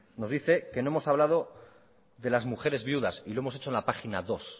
nos dice que no hemos hablado de las mujeres viudas y lo hemos hecho en la página dos